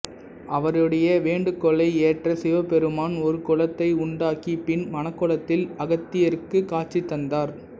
அவருடைய வேண்டுகோளை ஏற்ற சிவபெருமான் ஒரு குளத்தை உண்டாக்கி பின் மணக்கோலத்தில் அகத்தியருக்குக் காட்சி தந்தார்